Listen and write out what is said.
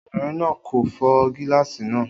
Obìnrin náà kò fọ́ gíláàsì náà